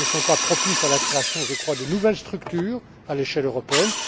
ne sont pas propices à la création de nouvelles structures à l'échelle européenne.